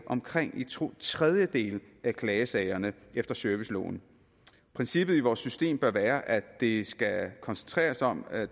omkring to tredjedele af klagesagerne efter serviceloven princippet i vores system bør være at det skal koncentrere sig om at